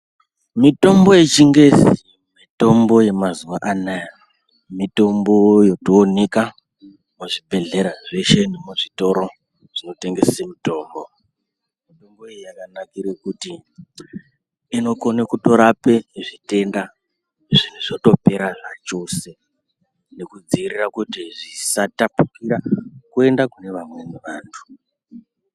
Mithombo yechingezi ,mithombo yemazuwa anaaya mithombo yotooneka muzvibhedhlera zveshe nemuzvitoro zvinotengese mithombo. Mithombo iyi yakanakire kuti inokone kutorape zvitenda zvinhu zvotopera zvachose nekudziirira kuti zvisatapukira kuenda kune vamweni vanthu.